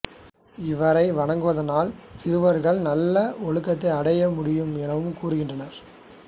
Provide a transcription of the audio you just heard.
இவரை வணங்குவதனால் சிறுவர்கள் நல்ல ஒழுக்கத்தை அடைய முடியும் எனவும் கூறுகின்றனர்